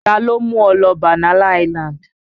Taló mú ọ lọ Banana island?